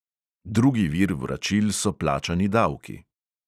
Drugi vir vračil so plačani davki.